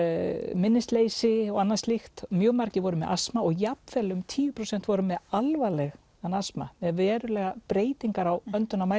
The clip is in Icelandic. minnisleysi og annað slíkt mjög margir voru með astma og jafn vel um tíu prósent voru með alvarlegan astma með verulegar breytingar á